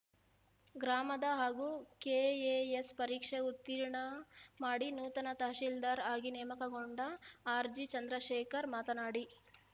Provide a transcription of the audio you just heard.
ಗ್ರಾಮದ ಹಾಗೂ ಕೆಎಎಸ್‌ ಪರೀಕ್ಷೆ ಉತ್ತೀರ್ಣ ಮಾಡಿ ನೂತನ ತಹಸೀಲ್ದಾರ್‌ ಆಗಿ ನೇಮಕಗೊಂಡ ಆರ್‌ಜಿಚಂದ್ರಶೇಖರ್‌ ಮಾತನಾಡಿ